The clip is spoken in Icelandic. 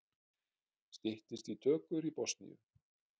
Styttist í tökur í Bosníu